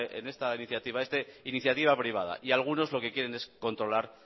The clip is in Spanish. en esta iniciativa privada y algunos lo que quieren es controlar